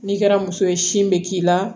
N'i kɛra muso ye sin bɛ k'i la